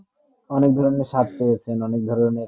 অনেক ধরণে সাত তা হয়েছে অনেক ধরণে